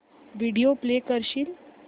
video play करशील